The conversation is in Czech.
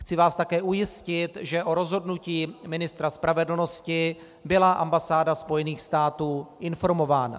Chci vás také ujistit, že o rozhodnutí ministra spravedlnosti byla ambasáda Spojených států informována.